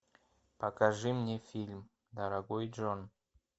покажи мне фильм дорогой джон